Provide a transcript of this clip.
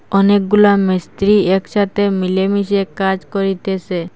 অনেকগুলা মিস্ত্রি একসাথে মিলেমিশে কাজ করিতেসে।